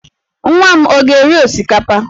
Nwa m ọ ga-eri osikapa?